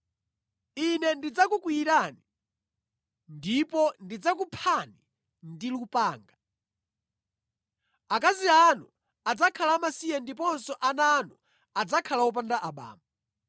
Ine ndidzakukwiyirani ndipo ndidzakuphani ndi lupanga. Akazi anu adzakhala amasiye ndiponso ana anu adzakhala wopanda abambo.